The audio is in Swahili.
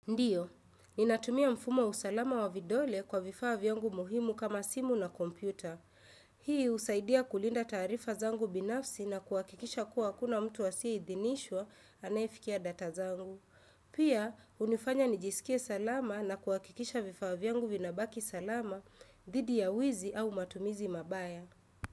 Ndiyo, ninatumia mfumo usalama wa vidole kwa vifaa vyangu muhimu kama simu na kompyuta. Hii usaidia kulinda taarifa zangu binafsi na kuwakikisha kuwa hakuna mtu asiye idhinishwa anafikia data zangu. Pia, unifanya nijisikie salama na kuwakikisha vifaa vyangu vinabaki salama, dhidi ya wizi au matumizi mabaya.